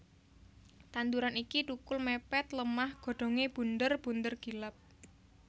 Tanduran iki thukul mepet lemah godhonge bunder bunder gilap